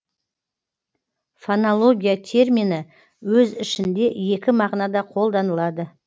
фонология термині өз ішінде екі мағынада қолданылады